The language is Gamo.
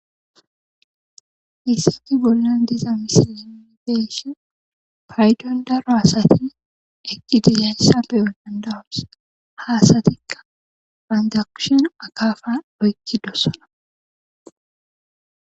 hayssafe bollan diza misilideeshi payton daro asati eqidiyayssa beyo dandawos haasatikka bandakushen akaafa doykidossona